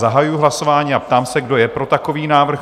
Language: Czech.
Zahajuji hlasování a ptám se, kdo je pro takový návrh?